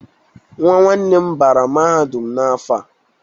Nwa nwanne nne m bara mahadum n'afọ a.